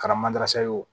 Kɛra ye wo